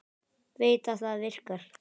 Veit að það virkar.